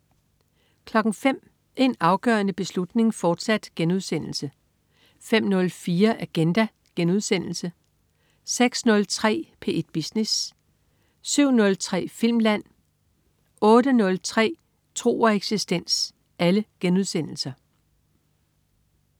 05.00 En afgørende beslutning, fortsat* 05.04 Agenda* 06.03 P1 Business* 07.03 Filmland* 08.03 Tro og eksistens*